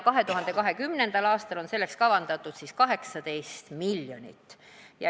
2020. aastal on selleks kavandatud 18 miljonit.